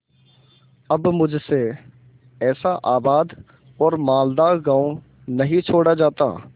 अब मुझसे ऐसा आबाद और मालदार गॉँव नहीं छोड़ा जाता